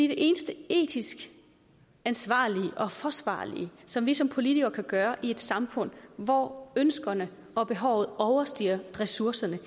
det eneste etisk ansvarlige og forsvarlige som vi som politikere kan gøre i et samfund hvor ønskerne og behovene overstiger ressourcerne